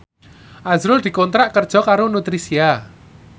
azrul dikontrak kerja karo Nutricia